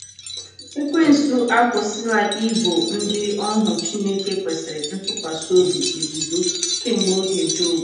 Ekwensu ọ̀ akwụsịla ibo ndị ohu Chineke kwesịrị ntụkwasị obi ebubo kemgbe oge Jobu?